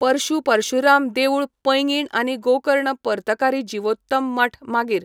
पुर्श पर्शुराम देवूळ पैंगीण आनी गोकर्ण पर्तकारी जिवोत्तम मठ मागीर